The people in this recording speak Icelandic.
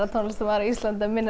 tónlistarmaður á Íslandi að minna